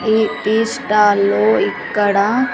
ఈ టీస్టాల్ లో ఇక్కడ--